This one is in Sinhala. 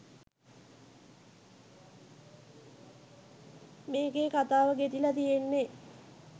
මේකෙ කතාව ගෙතිල තියෙන්නෙ